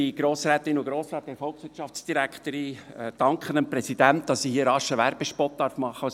Ich danke dem Präsidenten, dass ich hier als Präsident des Bernischen Historischen Museums (BHM) kurz einen Werbespot machen darf.